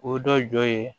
O dɔ ye